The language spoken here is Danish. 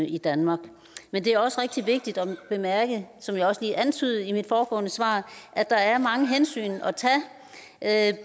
i danmark men det er også rigtig vigtigt at bemærke som jeg også lige antydede i mit foregående svar at der er mange hensyn at